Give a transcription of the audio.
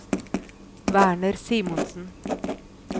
Werner Simonsen